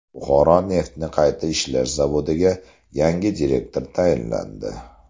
Buxoro neftni qayta ishlash zavodiga yangi direktor tayinlandi.